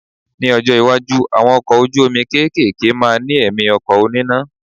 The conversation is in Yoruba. Ní ọjọ́ iwájú, àwọn ọkọ̀ ojú omi kéékèèké máa ní ẹ̀mí ọkọ̀ oníná.